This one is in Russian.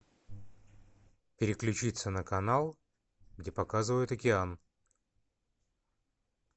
переключиться на канал где показывают океан